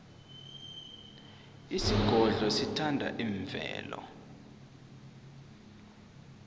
isigodlo sithanda imvelo